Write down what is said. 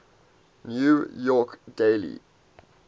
new york daily